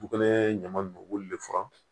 Dugu kɛlen ɲama b'olu le furan